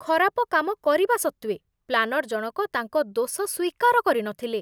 ଖରାପ କାମ କରିବା ସତ୍ତ୍ୱେ ପ୍ଲାନର୍ ଜଣକ ତାଙ୍କ ଦୋଷ ସ୍ୱୀକାର କରିନଥିଲେ।